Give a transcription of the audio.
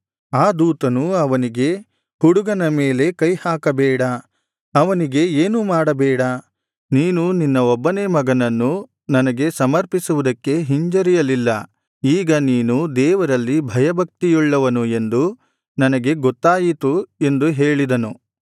ಆ ದೂತನು ಅವನಿಗೆ ಹುಡುಗನ ಮೇಲೆ ಕೈ ಹಾಕಬೇಡ ಅವನಿಗೆ ಏನೂ ಮಾಡಬೇಡ ನೀನು ನಿನ್ನ ಒಬ್ಬನೇ ಮಗನನ್ನು ನನಗೆ ಸಮರ್ಪಿಸುವುದಕ್ಕೆ ಹಿಂಜರಿಯಲಿಲ್ಲ ಈಗ ನೀನು ದೇವರಲ್ಲಿ ಭಯಭಕ್ತಿಯುಳ್ಳವನು ಎಂದು ನನಗೆ ಗೊತ್ತಾಯಿತು ಎಂದು ಹೇಳಿದನು